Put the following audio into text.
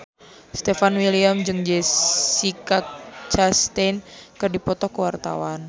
Stefan William jeung Jessica Chastain keur dipoto ku wartawan